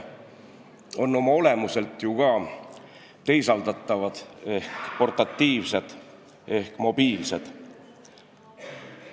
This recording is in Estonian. Oma olemuselt on ju ka need teisaldatavad ehk portatiivsed ehk mobiilsed.